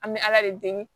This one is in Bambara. An bɛ ala de deli